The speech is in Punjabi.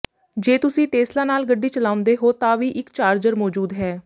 ਜੇ ਤੁਸੀਂ ਟੇਸਲਾ ਨਾਲ ਗੱਡੀ ਚਲਾਉਂਦੇ ਹੋ ਤਾਂ ਵੀ ਇੱਕ ਚਾਰਜਰ ਮੌਜੂਦ ਹੈ